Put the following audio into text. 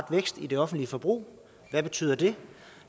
vækst i det offentlige forbrug hvad betyder det